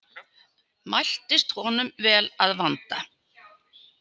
Mæltist honum vel að vanda.